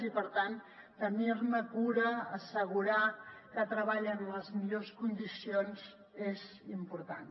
i per tant tenir ne cura assegurar que treballen en les millors condicions és important